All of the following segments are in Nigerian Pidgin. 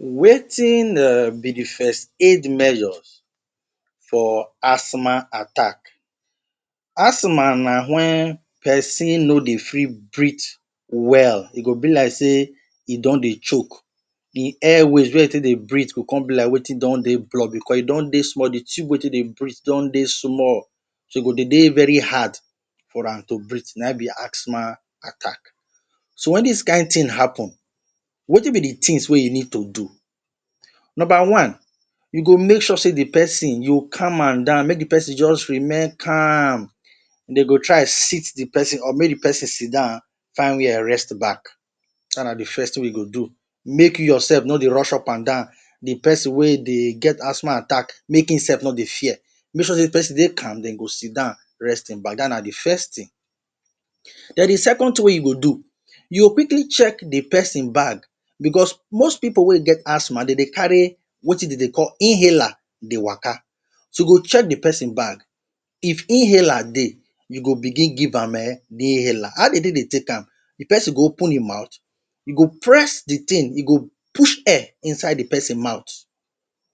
Wetin um be de first aid measures for asthma attack? Asthma na when pesin no dey fit breathe well. E go be like sey e don dey choke. him airways wey e take dey breathe go come be like wetin done dey blocked, because e don dey small. De tube wey e take dey breathe don dey small, so e go dey dey very hard for am to breathe. Na im be asthma attack. So when dis kain thing happen, wetin be de things wey you need to do. Number one, you go make sure sey de pesin you go calm am down, make de pesin just remain calm. Dey go try sit de pesin de pesin up, make de pesin sit down, find where rest back. Dat na de first thing wey you go do. Make you your sef no dey rush up and down. De pesin wey dey get asthma attack, make him sef no dey fear. Make sure sey de pesin de calm, den go sit down rest im back. Dat na de first thing. Den de second thing wey you go do, you go quickly check de pesin bag because most pipu wey get asthma dey dey carry wetin dey dey call inhaler dey waka. So, you go check de pesin bag, if inhaler dey, you go begin give am um de inhaler. How dey take dey take am? De pesin go open im mouth, you go press de thing, e go push air inside de pesin mouth.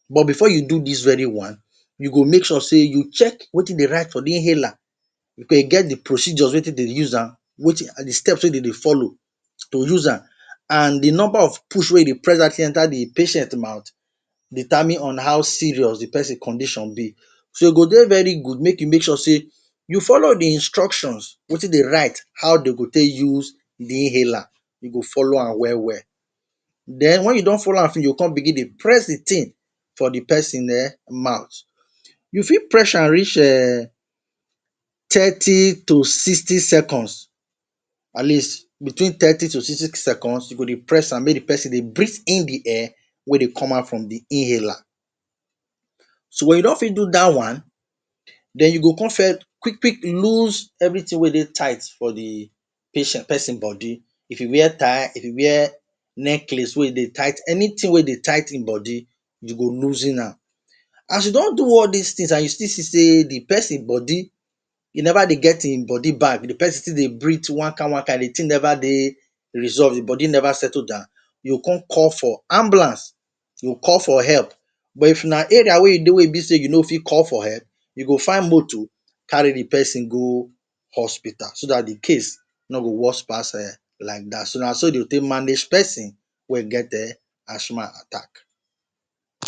But before you do dis very one, you go make sure sey you check wetin dey write for de inhaler, because e get de procedures wey take dey use am, de steps wey dey dey follow to use am, and de number of push wey e dey press dat thing enter de patient mouth determine on how serious de pesin condition be. So e go dey very good make you make sure sey you follow de instructions, wetin de write, how dey go take use de inhaler, you go follow am well well. Den when you don follow am finish, you go come begin dey press de thing for de pesin um mouth. You fit press am reach um thirty to sixty seconds, at least between thirty to sixty seconds you go dey press am make de pesin dey breathe in de air wey dey come out from de inhaler. So when you don finish do dat one, den you go come quick quick loose everything wey dey tight for de patient pesin body. If e wear tie, if e wear necklace wey dey tight, anything wey dey tight im body, you go loosen am. As you don do all dis things, and you still see sey de pesin body e never dey get im body back, de pesin still dey breathe one kain one kain, de thing never dey resolved, de body never settle down, you go come call for ambulance. You go call for help. But if na area wey you dey wey e be sey you no fit call for help, you go find moto carry de pesin go hospital, so dat de case no go worse pass um like dat. So na so dey go take manage pesin wey get um asthma attack.